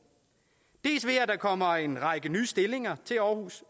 dels ved at der kommer en række nye stillinger til aarhus